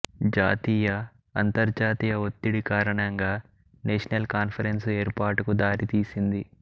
జాతీయ అంతర్జాతీయ ఒత్తిడి కారణంగా నేషనల్ కాన్ఫరెన్సు ఏర్పాటుకు దారితీసింది